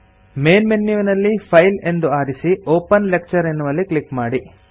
main ಮೆನ್ಯುವಿನಲ್ಲಿ file ಎಂದು ಆರಿಸಿ ಒಪೆನ್ ಲೆಕ್ಚರ್ ಎನ್ನುವಲ್ಲಿ ಕ್ಲಿಕ್ ಮಾಡಿ